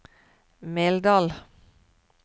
Meldal